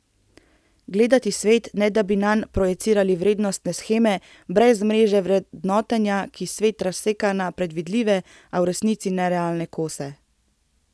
Gledati svet, ne da bi nanj projicirali vrednostne sheme, brez mreže vrednotenja, ki svet razseka na predvidljive, a v resnici nerealne kose.